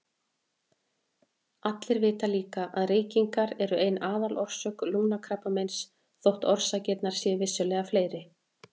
Allir vita líka að reykingar eru ein aðalorsök lungnakrabbameins þótt orsakirnar séu vissulega fleiri.